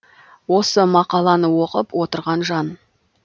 осы мақаланы оқып отырған жан